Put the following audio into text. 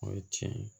O ye tiɲɛ ye